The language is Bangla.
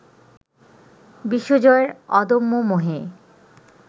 বিশ্বজয়ের অদম্য মোহে